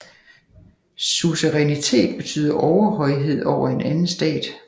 Suzerænitet betyder overhøjhed over en anden stat